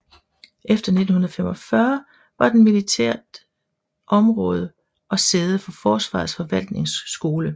Efter 1945 var den militært område og sæde for Forsvarets forvaltningsskole